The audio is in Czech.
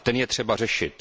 A ten je třeba řešit.